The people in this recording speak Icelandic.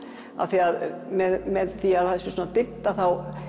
af því að með því að það er svona dimmt þá